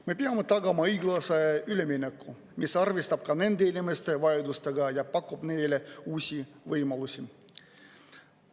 Me peame tagama õiglase ülemineku, mis arvestab ka nende inimeste vaidlustega ja pakub neile uusi võimalusi.